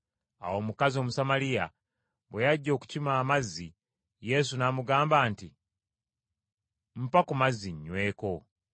Awo omukazi Omusamaliya bwe yajja okukima amazzi, Yesu n’amugamba nti, “Mpa ku mazzi nnyweko.”